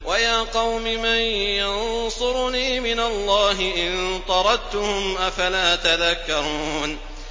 وَيَا قَوْمِ مَن يَنصُرُنِي مِنَ اللَّهِ إِن طَرَدتُّهُمْ ۚ أَفَلَا تَذَكَّرُونَ